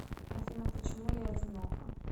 афина почему я одинока